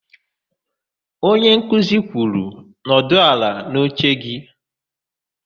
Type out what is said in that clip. Onyenkuzi kwuru, "nọdụ ala n'oche gị"!